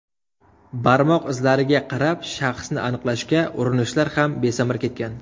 Barmoq izlariga qarab shaxsni aniqlashga urinishlar ham besamar ketgan.